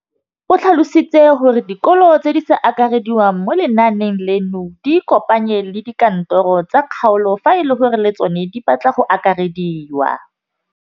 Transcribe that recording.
O tlhalositse gore dikolo tse di sa akarediwang mo lenaaneng leno di ikopanye le dikantoro tsa kgaolo fa e le gore le tsona di batla go akarediwa.